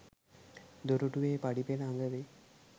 දොරටුවේ පඩි පෙළ අග වෙයි.